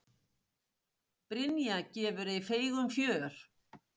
Brynja gefur ei feigum fjör.